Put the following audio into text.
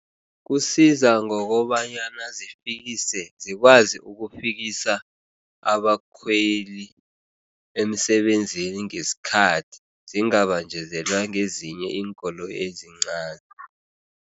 Kusiza ngokobanyana zifikise zikwazi ukufikisa abakhweli emisebenzini ngesikhathi, zingabanjezelwa ngezinye iinkoloyi ezincani.